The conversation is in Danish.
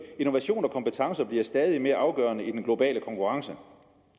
innovation og kompetencer bliver stadigt mere afgørende i den globale konkurrence